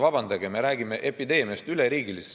Vabandage, me räägime epideemiast, üleriigilisest!